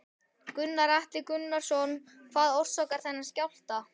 Gunnar Atli Gunnarsson: Hvað orsakar þennan skjálfta?